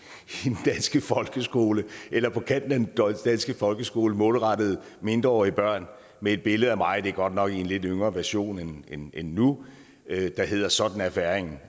i folkeskole eller på kanten af den danske folkeskole målrettet mindreårige børn med et billede af mig det er godt nok i en lidt yngre version end end nu der hedder sådan er færingen